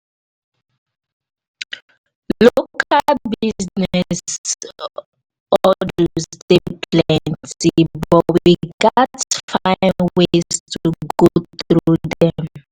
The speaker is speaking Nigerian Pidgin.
local business hurdles dey plenty but we gats find ways to go through dem.